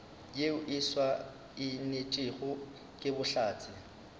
yeo e saenetšwego ke bohlatse